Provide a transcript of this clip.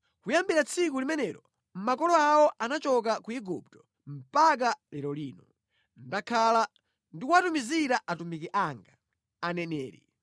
Kuyambira tsiku limene makolo awo anachoka ku Igupto mpaka lero lino, ndakhala ndikuwatumizira atumiki anga, aneneri.